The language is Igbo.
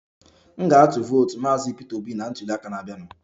M ga-atụ vootu maazị Peter Obi na ntuliaka na-abịanụ